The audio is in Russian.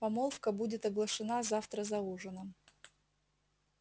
помолвка будет оглашена завтра за ужином